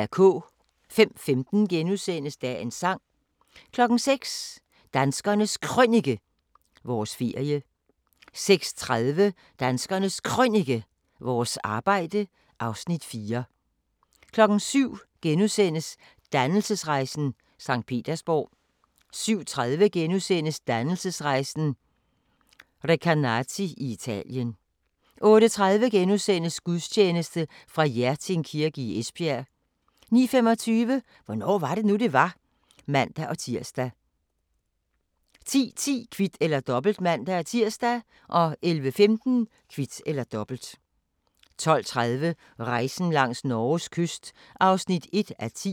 05:15: Dagens sang * 06:00: Danskernes Krønike - vores ferie 06:30: Danskernes Krønike - vores arbejde (Afs. 4) 07:00: Dannelsesrejsen – Sankt Petersborg * 07:30: Dannelsesrejsen – Recanati i Italien * 08:30: Gudstjeneste fra Hjerting Kirke i Esbjerg * 09:25: Hvornår var det nu, det var? (man-tir) 10:10: Kvit eller Dobbelt (man-tir) 11:15: Kvit eller Dobbelt 12:30: Rejsen langs Norges kyst (1:10)